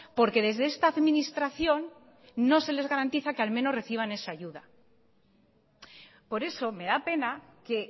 porque desde esta administración no se le garantiza que al menos reciban esa ayuda por eso me da pena que